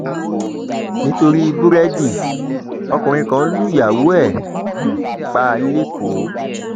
nítorí búrẹdì ọkùnrin kan lùyàwó ẹ um pa lẹkọọ